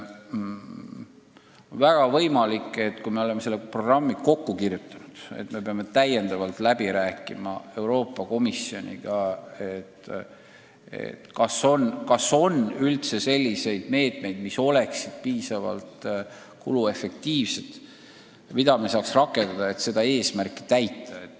Väga võimalik, et kui me oleme selle programmi kokku kirjutanud, siis me peame Euroopa Komisjoniga täiendavalt läbi rääkima, kas on üldse selliseid abinõusid, mis oleksid piisavalt kuluefektiivsed ja võimaldaksid seatud eesmärki täita.